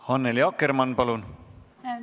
Annely Akkermann, palun!